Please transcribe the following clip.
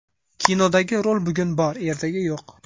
Kinodagi rol bugun bor, ertaga yo‘q.